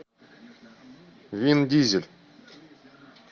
вин дизель